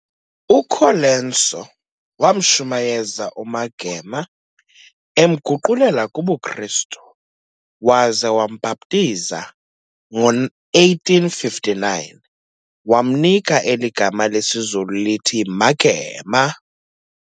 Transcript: UColenso wamshumayeza uMagema, emguqulela kubuKristu, waza wambhaptiza ngo-1859, wamnika eli gama lesiZulu lithi Magema.